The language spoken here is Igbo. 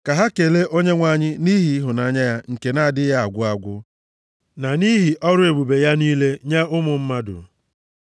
Ka ha kelee Onyenwe anyị nʼihi ịhụnanya ya nke na-adịghị agwụ agwụ na nʼihi ọrụ ebube ya niile nye ụmụ mmadụ,